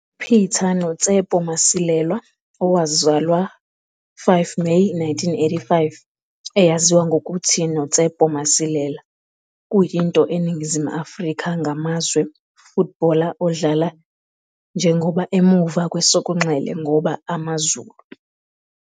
Peter noTsepo Masilela, owazalwa 5 Meyi 1985, eyaziwa ngokuthi noTsepo Masilela, kuyinto eNingizimu Afrika ngamazwe footballer odlala njengoba emuva kwesokunxele ngoba AmaZulu.